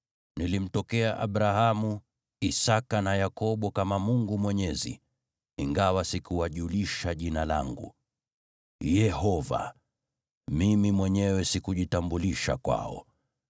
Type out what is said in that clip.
Nilimtokea Abrahamu, Isaki na Yakobo kama Mungu Mwenyezi, ingawa sikuwajulisha Jina langu, Yehova, Mimi mwenyewe sikujitambulisha kwao.